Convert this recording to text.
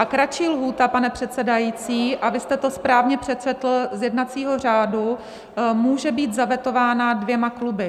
A kratší lhůta, pane předsedající, a vy jste to správně přečetl z jednacího řádu, může být zavetována dvěma kluby.